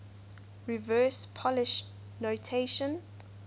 reverse polish notation